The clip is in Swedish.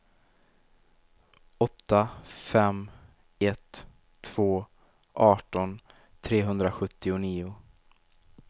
åtta fem ett två arton trehundrasjuttionio